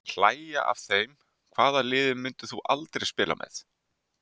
Hlægja af þeim Hvaða liði myndir þú aldrei spila með?